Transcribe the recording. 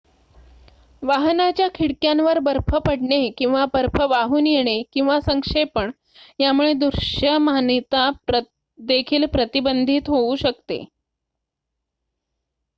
वाहनाच्या खिडक्यांवर बर्फ पडणे किंवा बर्फ वाहून येणे किंवा संक्षेपण यामुळे दृश्यमानता देखील प्रतिबंधित होऊ शकते